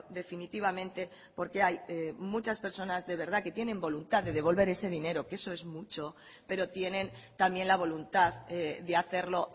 definitivamente porque hay muchas personas de verdad que tienen voluntad de devolver ese dinero que eso es mucho pero tienen también la voluntad de hacerlo